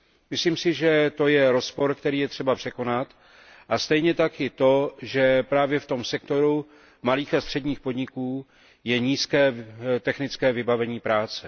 Myslím si, že to je rozpor, který je třeba překonat, a stejně tak i to, že právě v tom sektoru malých a středních podniků je nízké technické vybavení práce.